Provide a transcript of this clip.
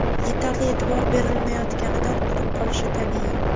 yetarli e’tibor berilmayotganidan qurib qolishi tabiiy.